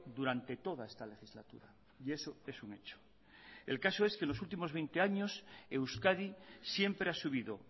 durante toda esta legislatura y eso es un hecho el caso es que en los últimos veinte años euskadi siempre ha subido